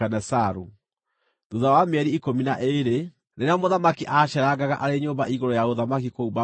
Thuutha wa mĩeri ikũmi na ĩĩrĩ, rĩrĩa mũthamaki aaceerangaga arĩ nyũmba igũrũ ya ũthamaki kũu Babuloni,